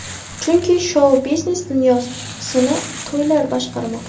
Chunki, shou-biznes dunyosini to‘ylar boshqarmoqda!